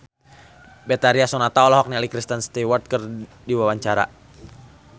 Betharia Sonata olohok ningali Kristen Stewart keur diwawancara